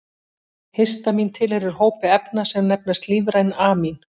Histamín tilheyrir hópi efna sem nefnast lífræn amín.